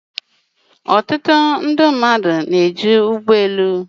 Ọtụtụ mmadụ Chéré ụgbọ elu